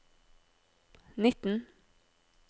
nitten